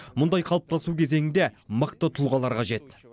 мұндай қалыптасу кезеңінде мықты тұлғалар қажет